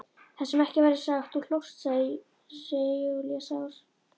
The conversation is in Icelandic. Það sem ekki verður sagt Þú hlóst, segir Júlía sár.